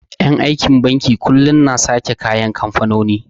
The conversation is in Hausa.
En aikin banki kullum na sake da kayan kamfanoni